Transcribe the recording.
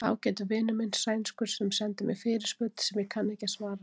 Ágætur vinur minn, sænskur, sendi mér fyrirspurn sem ég kann ekki að svara.